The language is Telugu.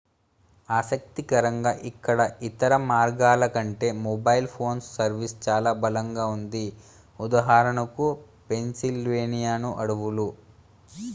ఆసక్తికరంగా ఇక్కడ ఇతర మార్గాల కంటే మొబైల్ ఫోన్ సర్వీస్ చాలా బలంగా ఉంది ఉదాహరణకు పెన్సిల్వేనియా అడవులు